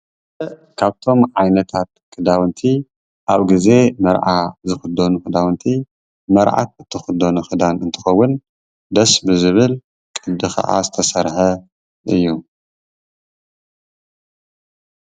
ካብቶም ዓይነታት ክዳዉንቲ ኣብ ግዘ መርዓ ዝክደኑ ክዳዉንቲ መርዓት ትክደኖ ክዳን እንትከዉን ደስ ብዝብል ቅዲ ከዓ ዝተሰርሐ እዩ ።